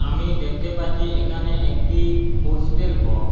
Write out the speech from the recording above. আমি দেখতে পাচ্ছি এখানে একটি পোস্টেল বক্স ।